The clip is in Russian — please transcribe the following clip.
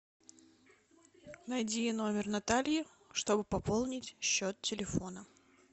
найди номер натальи чтобы пополнить счет телефона